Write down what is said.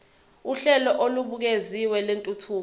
uhlelo olubukeziwe lwentuthuko